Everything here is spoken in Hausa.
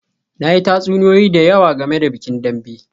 Na yi tatsuniyoyi da yawa game da bikin Dambe